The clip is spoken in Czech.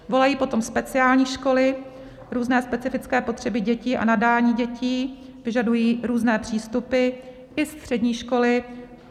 Volají po tom speciální školy, různé specifické potřeby dětí a nadání dětí vyžadují různé přístupy, i střední školy.